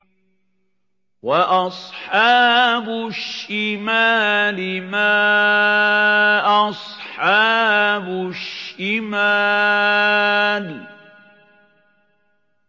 وَأَصْحَابُ الشِّمَالِ مَا أَصْحَابُ الشِّمَالِ